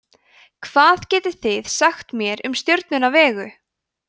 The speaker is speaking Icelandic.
hvað getið þið sagt mér um stjörnuna vegu